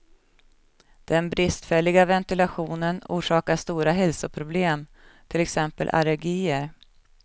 Den bristfälliga ventilationen orsakar stora hälsoproblem, till exempel allergier.